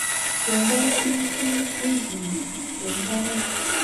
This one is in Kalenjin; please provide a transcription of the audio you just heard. kiakol viazinik wikii nii eng mbaret